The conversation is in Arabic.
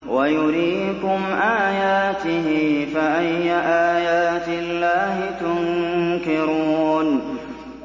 وَيُرِيكُمْ آيَاتِهِ فَأَيَّ آيَاتِ اللَّهِ تُنكِرُونَ